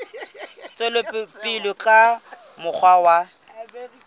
tswela pele ka mokgwa wa